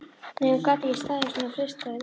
Nei, hún gat ekki staðist svona freistingar.